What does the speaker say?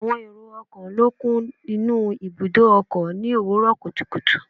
Àwọn èrò ọkọ̀ ló kún inú ibùdó ọkọ̀ ni òwúrò kùtùkùtù